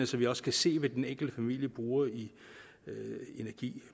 så vi også kan se hvad den enkelte familie bruger i energi